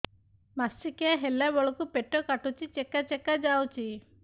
ମାସିକିଆ ହେଲା ବେଳକୁ ପେଟ କାଟୁଚି ଚେକା ଚେକା ଯାଉଚି